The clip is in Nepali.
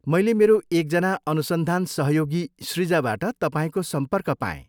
मैले मेरो एकजना अनुसन्धान सहयोगी सृजाबाट तपाईँको सम्पर्क पाएँ।